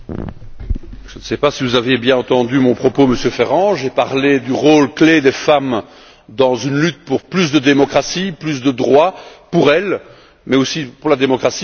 Monsieur Ferrand, je ne sais pas si vous avez bien entendu mon propos. J'ai parlé du rôle clé des femmes dans une lutte pour plus de démocratie, plus de droits pour elles, mais aussi pour la démocratie.